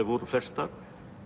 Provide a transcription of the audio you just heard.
voru flestar